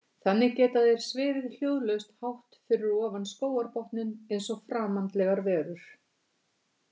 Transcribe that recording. Þannig geta þeir svifið hljóðlaust hátt fyrir ofan skógarbotninn eins og framandlegar verur.